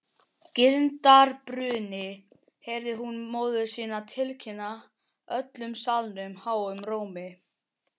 Girndarbruni, heyrði hún móður sína tilkynna öllum salnum háum rómi.